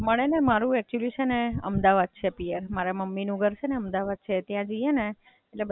મડે ને મારુ એક્ચુઅલ્લી છે ને અમદાવાદ છે પિયર. મારા મમ્મી નું ઘર છે ને અમદાવાદ છે ત્યાં જઈએ ને એટલે બધા જૂના ફ્રેન્ડ્સ મળે. હમણાં બઉ દિવસ થી ગઈ નહીં એટલે મળ્યા નહીં.